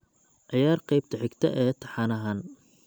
ciyaar qaybta xigta ee taxanahan